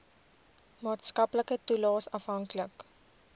maatskaplike toelaes afhanklik